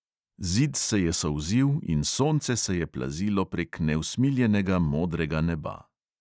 Zid se je solzil in sonce se je plazilo prek neusmiljenega modrega neba.